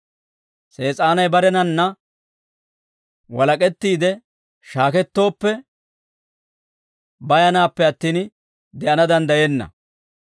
Sees'aanay barenanna walak'ettiide shaakettooppe, bayanaappe attin, de'ana danddayenna.